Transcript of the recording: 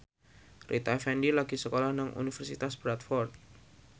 Rita Effendy lagi sekolah nang Universitas Bradford